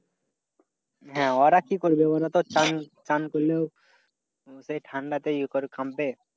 হ্যাঁ ওরা কি করবে? ওরাতো ঠান্ডাতেই ইয়ে করে